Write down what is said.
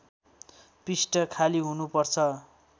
पृष्ठ खाली हुनुपर्छ